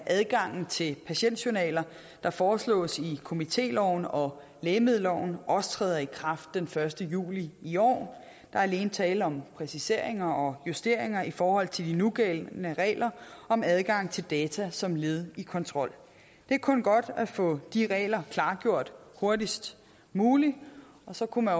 adgang til patientjournaler der foreslås i komitéloven og lægemiddelloven også træder i kraft den første juli i år der er alene tale om præciseringer og justeringer i forhold til de nugældende regler om adgang til data som led i kontrol det er kun godt at få de regler klargjort hurtigst muligt så kunne